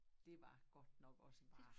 Dét var godt nok også bare